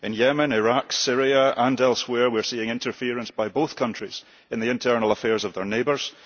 In Yemen, Iraq, Syria and elsewhere, we are seeing interference by both countries in the internal affairs of their neighbours.